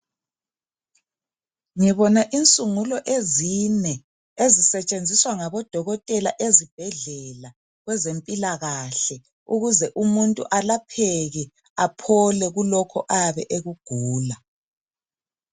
ngibona insungulo ezine ezisetshenziswa ngabodokotela ezibhedlela kwezempilakahle ukuze umuntu alapheke aphole kulokhu ayabe ekugula